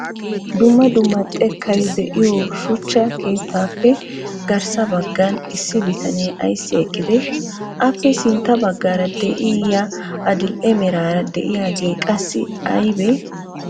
dumma dumma xekkay de'iyo shuchcha keettappe garssa baggan issi bitanee aysi eqqiide? appe sintta baggaara de'iyaa adil''e meraara de'iyaage qassi aybbe?